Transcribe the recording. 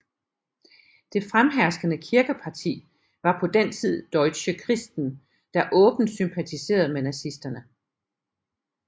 Det fremherskende kirkeparti var på den tid Deutsche Christen der åbent sympatiserede med nazisterne